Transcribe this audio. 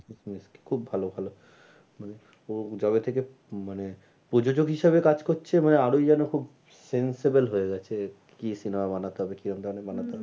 খুব ভালো ভালো মানে ও যবে থেকে মানে প্রযোজোগ হিসাবে কাজ করছে আরোই যেন খুব sensible হয়ে গেছে কি cinema বানাতে হবে কিরম ধরণের বানাতে হবে